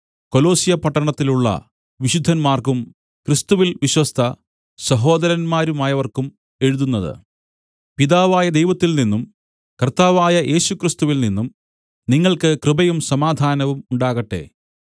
കൊലൊസ്സ്യപട്ടണത്തിലുള്ള വിശുദ്ധന്മാർക്കും ക്രിസ്തുവിൽ വിശ്വസ്ത സഹോദരന്മാരായവർക്കും എഴുതുന്നത് പിതാവായ ദൈവത്തിൽനിന്നും കർത്താവായ യേശുക്രിസ്തുവിൽ നിന്നും നിങ്ങൾക്ക് കൃപയും സമാധാനവും ഉണ്ടാകട്ടെ